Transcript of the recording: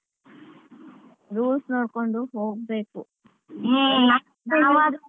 Rules ನೋಡ್ಕೊಂಡು ಹೋಗ್ಬೇಕು .